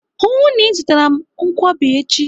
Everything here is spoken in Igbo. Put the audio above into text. Hụụ na Ị zụtara m nkwobi echi!